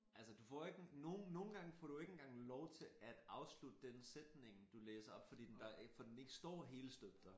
Altså du får ikke nogen nogen gange får du jo ikke engang lov til at afslutte den sætning du læser op fordi den der for den ikke står helstøbt der